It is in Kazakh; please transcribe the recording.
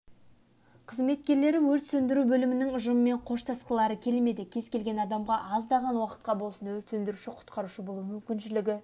қызметкерлері өрт сөндіру бөлімінің ұжымымен қоштасқылары келмеді кез-келген адамға аздаған уақытқа болсын өрт сөндіруші-құтқарушы болу мүмкіншілігі